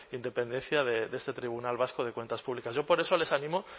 independencia de este tribunal vasco de cuentas públicas yo por eso les animo